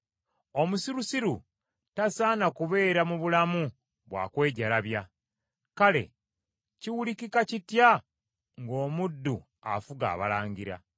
Omusirusiru tasaana kubeera mu bulamu bwa kwejalabya, kale kiwulikika kitya ng’omuddu afuga abalangira?